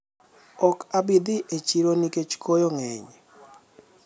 okabidhi e siro nikech koyo ng'eny